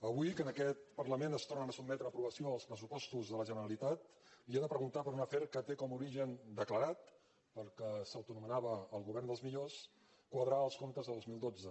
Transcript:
avui que en aquest parlament es tornen a sotmetre a aprovació els pressupostos de la generalitat li he de preguntar per un afer que té com a origen declarat pel qual s’autoanomenava el govern dels millors quadrar els comptes de dos mil dotze